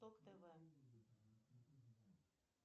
ток тв